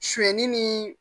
Suɲɛni ni